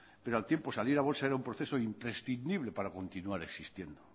pero al tiempo salir a bolsa era un proceso imprescindible para continuar existiendo